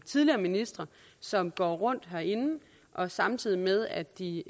tidligere ministre som går rundt herinde og samtidig med at de